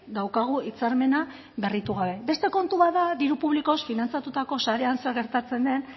daukagu hitzarmena berritu gabe beste kontu bat da diru publikoz finantzatutako sarean zer gertatzen den